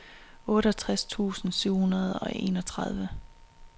otteogtres tusind syv hundrede og enogtredive